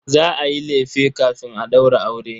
Za a yi lefe kafin a ɗaura aure.